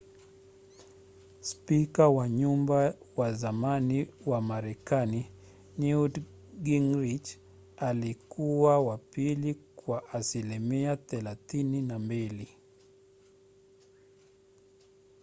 spika wa nyumba wa zamani wa marekani newt gingrich alikuwa wa pili kwa asilimia 32